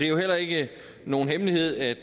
jo heller ikke nogen hemmelighed at